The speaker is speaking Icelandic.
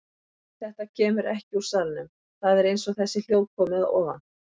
Nei, þetta kemur ekki úr salnum, það er eins og þessi hljóð komi að ofan.